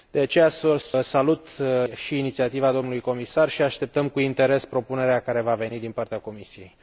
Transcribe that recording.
De aceea, salut și inițiativa domnului comisar și așteptăm cu interes propunerea care va veni din partea Comisiei.